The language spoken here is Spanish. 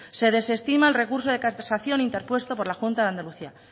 se desestima el recurso de casación interpuesto por la junta de andalucía